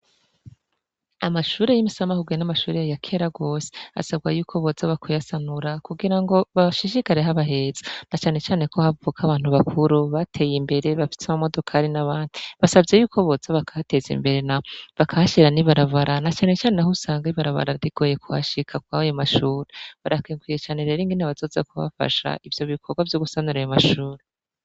Amashure y'imisamahuguye n'amashurere ya kela gose asabwa yuko boza bakwyasanura kugira ngo bashishikareho abaheza na canecane ko havwoka abantu bakuru bateye imbere bafitse amu modokaari n'abandi basavye yuko boza bakateza imbere na bakashira ni barabara na canecane ho usanganibarabararigoye kuhashika kwayo mashure barakenkwire cane rero ingene abazoza kubafasha ivyo bikorwa vyo gusanureye mashura.